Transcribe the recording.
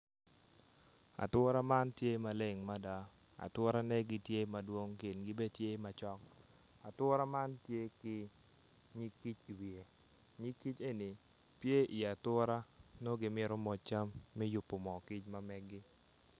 Atura man gileng mada aturane tye madwong kingi bene tye macok atura man tye ki nyig kic iwiye nyig kic eni tye iwi atura nongo gimito moc cam me yubo mo kicgi.